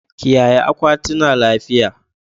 Kiyaye akwatina lafiya